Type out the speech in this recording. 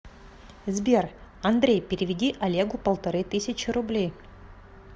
сбер андрей переведи олегу полторы тысячи рублей